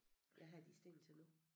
Hvad har de stegen til nu?